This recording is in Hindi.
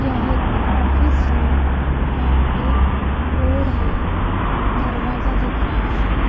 यह एक ऑफिस है यहाँ पे बोर्ड है दरवाजा दिख रहा है।